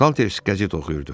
Salters qəzet oxuyurdu.